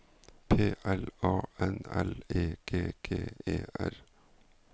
P L A N L E G G E R